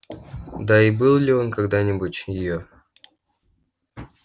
да и был ли он когда-нибудь её